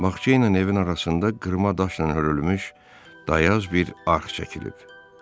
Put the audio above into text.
Bağça ilə evin arasında qırma daşla hörülmüş dayaz bir arx çəkilib.